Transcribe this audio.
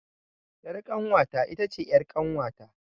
Ƴar kanwata itace ƴar kanwata